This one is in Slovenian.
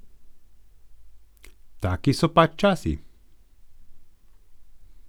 Taki so pač časi.